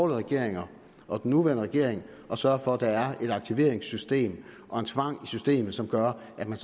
regeringer og den nuværende regering at sørge for at der er et aktiveringssystem og en tvang i systemet som gør at man